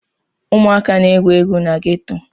Ụmụaka na-egwu egwu na geto.